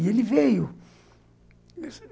E ele veio.